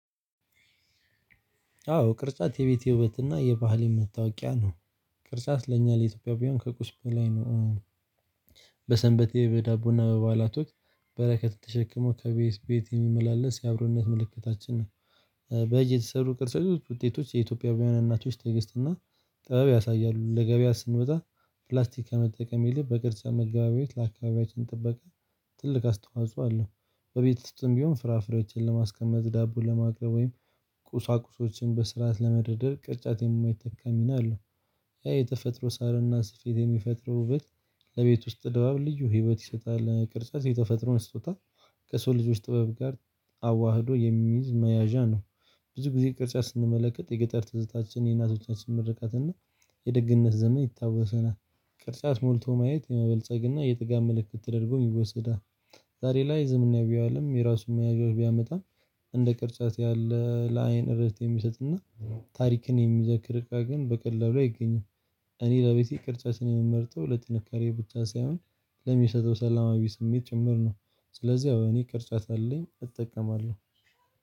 አዎ ቅርጻት የቤቴ ውበትና የባህል መታውቂያ ነው። ቅርጻት ለእኛ ለኢትዮጵያ ከቁስም በላይ ነው። በሰንበቴ በዳቦና በባላቶች በረከት ተሸክሞ ከቤት ቤት የሚመላለስ የአብሮነት ምልክታችን ነው። በእጅ የተሰሩ ቅርሰቶች ውጤቶች የኢትዮጵያ እናቶች ትግስተናል እና ጥበብ ያሳያሉ። ለገበያ ስንበጣ ፕላስቲክ ከመጠቀም ይልቅ በቅርጫ መገበያየት ለአካባቢያችን ጥበቃ ትልቅ አስተዋጽኦ አለው። በቤት ውስጥም ቢሆን ፍራፍሬዎችን ለማስቀመ፣ ዳቦ ለማቅረብ፣ ወይም ቁሳቁሶችን በስርዓት ለመድረድር፣ ቅርጫት የማይተካ ሚና አለው። ያ የተፈጥሮ ሳርና ስፌት የሚፈጥረው ውበት ለቤት ውስጥ ድባብ ልዩ ህይወት ይሰጣል። ቅርጻት የተፈጥሮን ስጦታ ከሰው ልጆች ጥበብ ጋር አዋህዶ የሚይዝ መያዣ ነው። ብዙ ጊዜ ቅርጫት ስንመለከት የገጠር ትዝታችን የእናቶቻችን ምርቃት እና የደግነት ዘመን ይታወሰናል ቅርጫት ሞልቶ ማየት የመበልጸግ እና የጥጋት ምልክት ተደርጎ ይወሰዳል። ዛሬ ላይ ዝምና ቢያውልም የራሱን መያዣዎች ቢያመጣ እንደ ቅርጫት ያለ ለአይን እረፍት የሚሰጥና ታሪክን የሚዘክር እቃ ግን በቀላሉ ላይ አይገኝም። እኔ ለቤቴ ቅርጫችን የምመርጠው ለጥንካሬ ብቻ ሳይሆን ለሚሰጠው ሰላማዊ ስሜት ጭምር ነው። ስለዚህ እኔ ቅርጫት አለኝ እጠቀማለሁ።